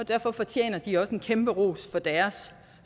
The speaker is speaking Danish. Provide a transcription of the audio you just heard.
og derfor fortjener de også en kæmpe ros for deres